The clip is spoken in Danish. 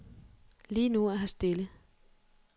Lige nu er her stille.